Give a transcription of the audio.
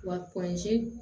Wa